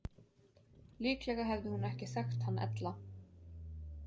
Líklega hefði hún ekki þekkt hann ella.